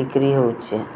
ବିକ୍ରୀ ହୋଉଛି ।